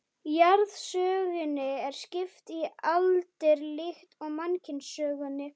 Jarðsögunni er skipt í aldir líkt og mannkynssögunni.